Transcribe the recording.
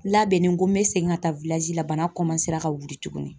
Labɛnnen ko n bɛ segin ka taa la bana ka wuli tuguni